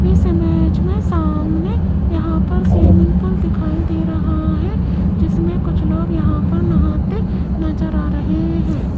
इस इमेज में सामने यहां पर स्विमिंग पूल दिखाई दे रहा है जिसमें कुछ लोग यहां पर नहाते नजर आ रहे हैं।